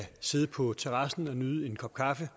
sidde på terrassen og nyde en kop kaffe